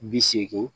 Bi seegin